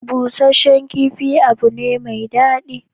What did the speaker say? Busasshen kifi abu ne mai daɗi.